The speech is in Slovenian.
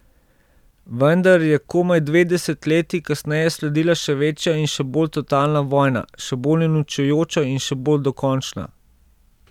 Vendar je komaj dve desetletji kasneje sledila še večja in še bolj totalna vojna, še bolj uničujoča in še bolj dokončna.